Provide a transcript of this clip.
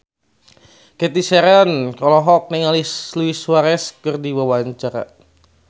Cathy Sharon olohok ningali Luis Suarez keur diwawancara